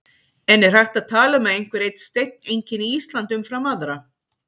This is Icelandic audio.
En er hægt að tala um að einhver einn steinn einkenni Ísland umfram aðra?